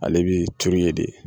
Ale bi turu yen de